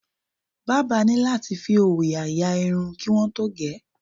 Bábà ní láti fi òòyà ya irun kí wọ́n tó ge